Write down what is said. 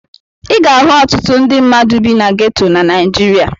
Ị ga-ahụ ọtụtụ ndị mmadụ bi na geto na Naịjirịa.